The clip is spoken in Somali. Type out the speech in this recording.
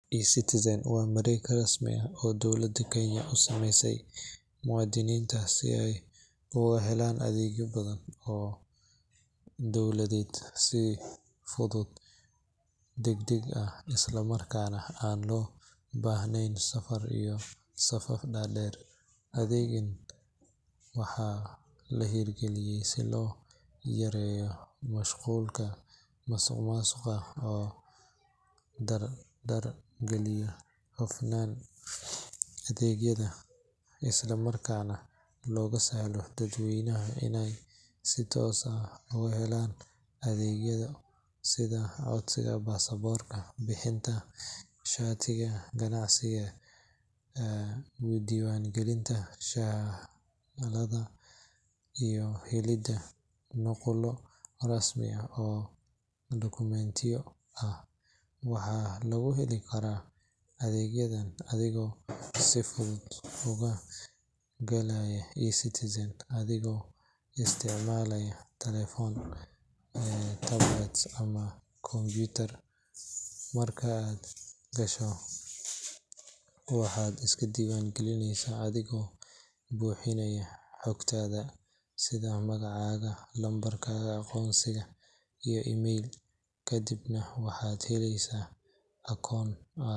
eCitizen waa mareeg rasmi ah oo ay dowladda Kenya u samaysay muwaadiniinta si ay uga helaan adeegyo badan oo dowladeed si fudud, degdeg ah, isla markaana aan loo baahnayn safar iyo safaf dhaadheer. Adeeggan waxaa la hirgeliyay si loo yareeyo musuqmaasuqa, loo dardar geliyo hufnaanta adeegyada, isla markaana loogu sahlo dadweynaha inay si toos ah uga helaan adeegyo sida codsiga baasaboorka, bixinta shatiga ganacsiga, diiwaangelinta dhalashada, iyo helidda nuqullo rasmiga ah oo dokumentiyo ah. Waxaa lagu heli karaa adeegyadan adigoo si fudud uga galaya eCitizen adigoo isticmaalaya taleefan, tablet ama kombiyuutar. Marka aad gasho, waxaad iska diiwaangelinaysaa adigoo buuxinaya xogtaada sida magacaaga, lambarka aqoonsiga, iyo email, kadibna waxaad heleysaa akoon.